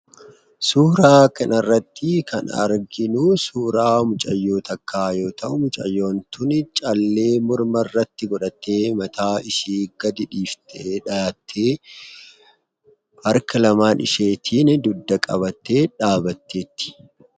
Suuraa kana irratti kan arginu, suuraa mucaayoo takka yoo ta'u, mucaayoon tuni caaleee morma irratti godhatee mataa ishii gad dhiftee dhahate, harka laman isheetin dugdaa qabatee dhabbatetti.